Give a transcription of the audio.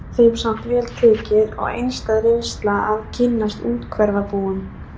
Víðast var þeim samt vel tekið og einstæð reynsla að kynnast úthverfabúum